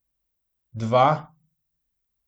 Dva?